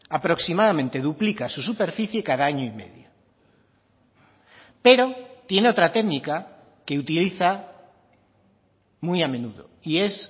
aproximadamente duplica su superficie cada año y medio pero tiene otra técnica que utiliza muy a menudo y es